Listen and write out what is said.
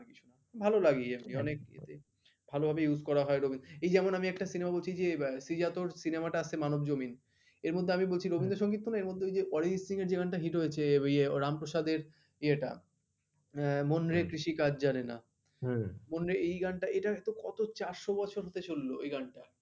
এর মধ্যে আমি বলছি রবীন্দ্র সংগীত শোনো এর মধ্যে ওই যে অরিজিৎ সিং এর যে গানটা hit হয়েছে ওই রামপ্রসাদের ইয়েটা মন রে কৃষি কাজ জানে না মন রে এই hit টা এটা কত চারশো বছরের পিছললো আই গান টা